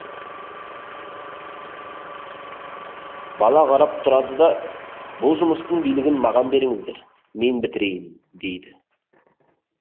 бала қарап тұрады да бұл жұмыстың билігін маған беріңіздер мен бітірейін дейді